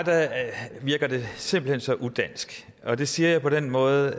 virker det simpelt hen så udansk og det siger jeg på den måde